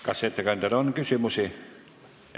Kas ettekandjale on küsimusi?